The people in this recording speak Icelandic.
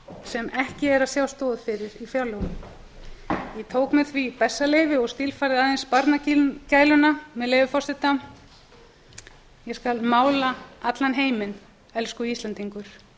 sem ekki sér stoð í fjárlögunum ég tók mér því bessaleyfi og stílfærði aðeins barnagæluna með leyfi forseta ég skal mála allan heiminn elsku íslendingur